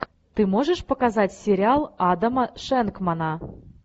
ты можешь показать сериал адама шенкмана